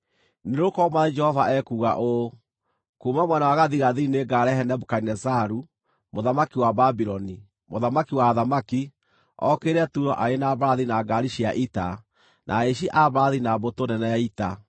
“Nĩgũkorwo Mwathani Jehova ekuuga ũũ: Kuuma mwena wa gathigathini nĩngarehe Nebukadinezaru, mũthamaki wa Babuloni, mũthamaki wa athamaki, okĩrĩre Turo arĩ na mbarathi, na ngaari cia ita, na ahaici a mbarathi, na mbũtũ nene ya ita.